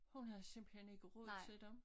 Hun havde simpelthen ikke råd til dem